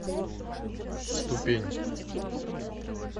ступень